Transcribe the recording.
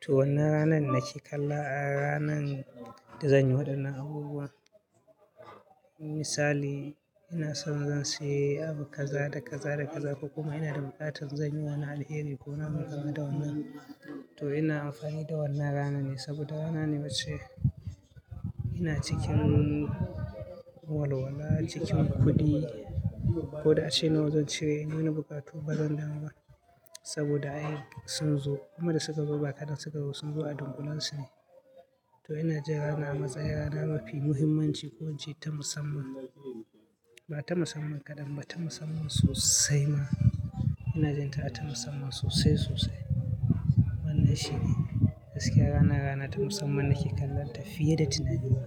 to wannan ranan nake kalla a ranan da zanyi waɗannan abubuwa. Misali ina son zan sayi abu kaza da kaza da kaza ko kuma ina da buƙatar zanyi wani alheri ko wannan kamar da wannan. To ina amfani da wannan ranar ne saboda rana ne wacce ina cikin walwala, cikin kuɗi ko da ace nawa zan cire inyi wani buƙatu bazan damu ba saboda ai sun zo. Kuma da suka zo ba kaɗan suka zo ba sun zo a dunƙulensu ne. To ina ji ranar a matsayin rana mafi muhimmanci ko ince ta musamman ba ta musamman kaɗan ba ta musamman sosai ma. Ina jin ta a ta musamman sosai sosai. Wannan shine gaskiya wanna rana ta musamman nake kallonta fiye da tunani na.